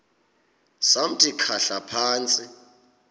samthi khahla phantsi